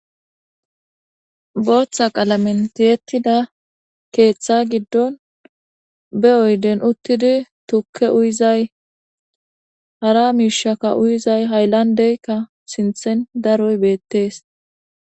booththa qalamentiyettida keeththa giddon be7oyden uttidi tukke uyizay hara miishaka uyizay hayllandeykka sinthen daroy beettees